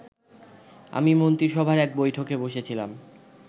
আমি মন্ত্রিসভার একটা বৈঠকে বসেছিলাম